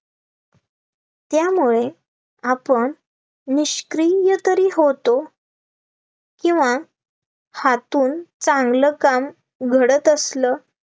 त्यामुळे आपण निष्क्रिय तरी होतो, किंवा हातून चांगलं काम घडतं असलं